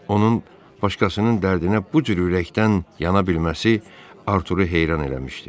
Onun başqasının dərdinə bu cür ürəkdən yana bilməsi Arturu heyran eləmişdi.